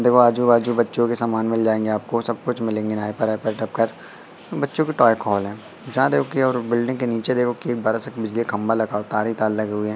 देखो आजू बाजू बच्चों के सामान मिल जाएंगे आपको सब कुछ मिलेंगे नाइपर वाइपर बच्चों के टॉय कॉल है जहां देखो कि और बिल्डिंग के नीचे देखो कि एक बिजली का खंभा लगा हुआ तारें ही तारें लगे हुए हैं।